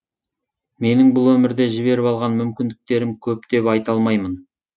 менің бұл өмірде жіберіп алған мүмкіндіктерім көп деп айта алмаймын